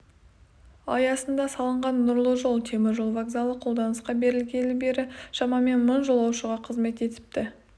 аясында салынған нұрлы жол темір жол вокзалы қолданысқа берілгелі бері шамамен мың жолаушыға қызмет етіпті